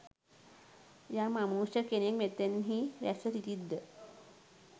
යම් අමනුෂ්‍ය කෙනෙක් මෙතැන්හි රැස්ව සිටිත් ද?